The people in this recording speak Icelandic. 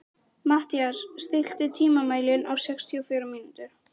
Mathías, stilltu tímamælinn á sextíu og fjórar mínútur.